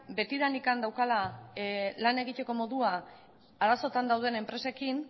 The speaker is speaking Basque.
betidanik daukala lan egiteko modua arazoetan dauden enpresekin